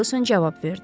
Ferquson cavab verdi.